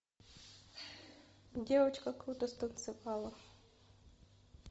девочка круто станцевала